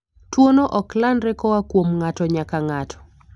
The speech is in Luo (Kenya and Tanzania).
Tuwono ok landre koa kuom ng'ato nyaka ng'ato.